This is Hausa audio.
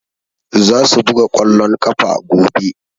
Za su buga ƙwallon ƙafa gobe.